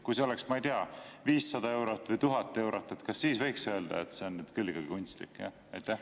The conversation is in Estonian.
Kui see oleks, ma ei tea, 500 eurot või 1000 eurot, kas siis võiks öelda, et see on küll kunstlik?